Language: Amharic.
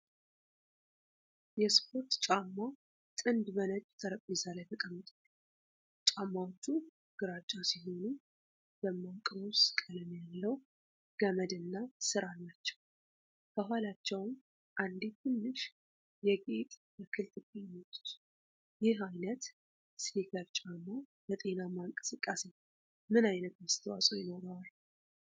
የስፖርት ጫማ ጥንድ በነጭ ጠረጴዛ ላይ ተቀምጧል። ጫማዎቹ ግራጫ ሲሆኑ ደማቅ ሮዝ ቀለም ያለው ገመድ እና ስር አላቸው። ከኋላቸውም አንዲት ትንሽ የጌጥ ተክል ትገኛለች። ይህ ዓይነት ስኒከር ጫማ ለጤናማ እንቅስቃሴ ምን ዓይነት አስተዋፅዖ ይኖረዋል?